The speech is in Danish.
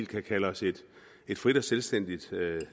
kan kalde os et frit og selvstændigt